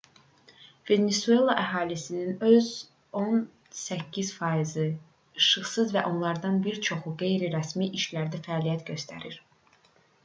venesuela əhalisinin on səkkiz faizi işsizdir və onlardan bir çoxu qeyri-rəsmi işlərdə fəaliyyət göstərir